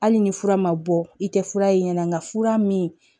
Hali ni fura ma bɔ i tɛ fura ye nga fura min